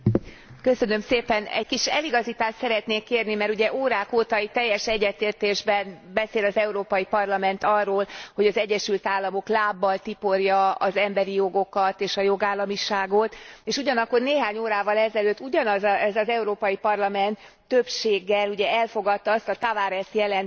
Egy kis eligazítást szeretnék kérni, mert ugye órák óta itt teljes egyetértésben beszél az Európai Parlament arról, hogy az Egyesült Államok lábbal tiporja az emberi jogokat és a jogállamiságot, és ugyanakkor néhány órával ezelőtt ugyanez az Európai Parlament többséggel elfogadta azt a Tavares jelentést, amelynek